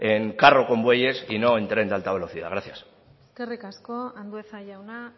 en carro con bueyes y no en tren de alta velocidad gracias eskerrik asko andueza jauna